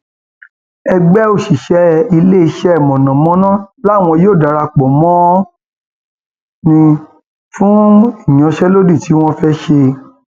ẹgbẹ òṣìṣẹ iléeṣẹ mọnàmọná làwọn yóò darapọ mọ nnl um fún ìyanṣẹlódì tí wọn um fẹẹ ṣe